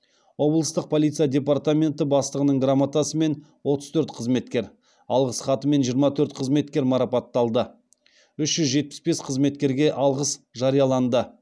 облыстық полиция департаменті бастығының грамотасымен отыз төрт қызметкер алғыс хатымен жиырма төрт қызметкер марапатталды үш жүз жетпіс бес қызметкерге алғыс жарияланды